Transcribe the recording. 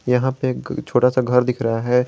यहां पे एक छोटा सा घर दिख रहा है।